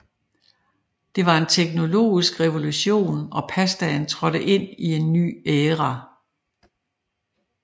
Det var en teknologisk revolution og pastaen trådte ind i en ny æra